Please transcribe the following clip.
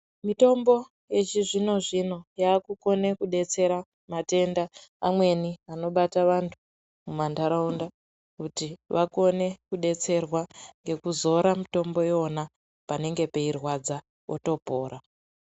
Mitombo yechizvino-zvino yakukona kudetsera matenda amweni anobata vantu mumantaraunda. Kuti vakone kudetserwa ngekuzora mitombo ivona panenge peirwadza otopora.